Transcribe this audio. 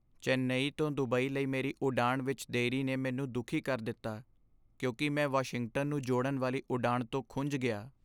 ਚੇਨਈ ਤੋਂ ਦੁਬਈ ਲਈ ਮੇਰੀ ਉਡਾਣ ਵਿੱਚ ਦੇਰੀ ਨੇ ਮੈਨੂੰ ਦੁਖੀ ਕਰ ਦਿੱਤਾ ਕਿਉਂਕਿ ਮੈਂ ਵਾਸ਼ਿੰਗਟਨ ਨੂੰ ਜੋੜਨ ਵਾਲੀ ਉਡਾਣ ਤੋਂ ਖੁੰਝ ਗਿਆ।